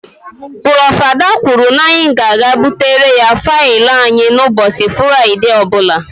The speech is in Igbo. Prof.Ada kwụrụ na-anyi ga na ebutere ya faịlụ anyị ụbọchị Furaide ọbula.